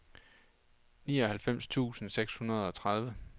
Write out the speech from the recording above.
nioghalvfems tusind seks hundrede og tredive